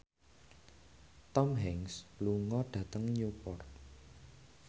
Tom Hanks lunga dhateng Newport